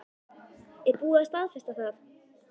Er búið að staðfesta það?